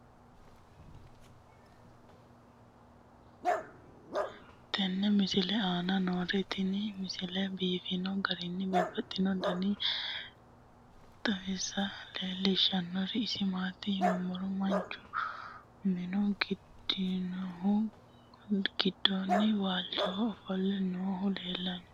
tenne misile aana noorina tini misile biiffanno garinni babaxxinno daniinni xawisse leelishanori isi maati yinummoro manchu minu diigaminnohu gidoonni waalichoho offolle noohu leelanno.